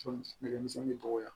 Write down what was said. nɛgɛmisɛnninya